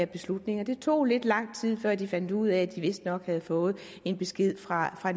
beslutning det tog lidt lang tid før de fandt ud af at de vistnok havde fået en besked fra